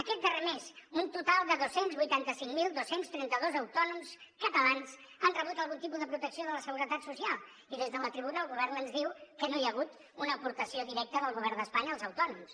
aquest darrer mes un total de dos cents i vuitanta cinc mil dos cents i trenta dos autònoms catalans han rebut algun tipus de protecció de la seguretat social i des de la tribuna el govern ens diu que no hi ha hagut una aportació directa del govern d’espanya als autònoms